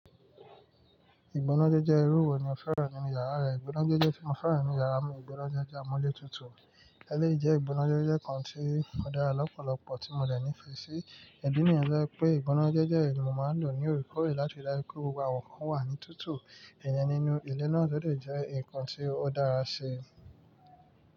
Ìgbónájẹ́jẹ́ irú wo ni o fẹ́ràn nínú yàrá rẹ? Ìgbónájẹ́jẹ́ tí mo fẹ́ràn nínú yàrá mi, ìgbónájẹ́jẹ́ amúlé tutù. Eléyìí jẹ́ ìgbónájẹ́jẹ́ kan tí ó dára lọ́pọ̀lọpọ̀ tí mo dẹ̀ ní ìfẹ́ sí. Ìdí nìyẹn tó jé pé ìgbónájẹ́jẹ́ yi ni mo máa ń lò ní oríkòrè láti ri dájú pé gbogbo aàwọn ǹkan wà ní tútù. Ẹ̀yẹ nínú ilẹ̀ náà lódẹ̀ jẹ́ nǹkan tí ó dára ṣe.